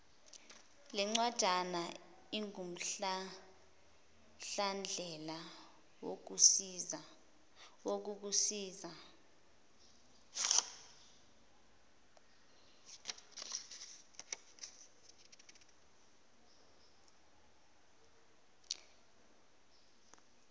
lencwajana ingumhlahlandlela wokukusiza